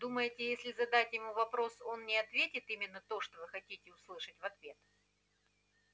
думаете если задать ему вопрос он не ответит именно то что вы хотите услышать в ответ